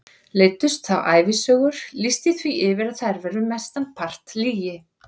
Leiddust þá ævisögur, lýsti því yfir að þær væru mestan part lygi.